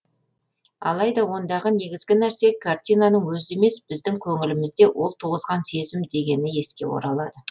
алайда ондағы негізгі нәрсе картинаның өзі емес біздің көңілімізде ол туғызған сезім дегені еске оралады